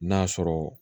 N'a sɔrɔ